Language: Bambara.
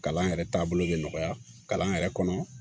Kalan yɛrɛ taabolo bɛ nɔgɔya kalan yɛrɛ kɔnɔ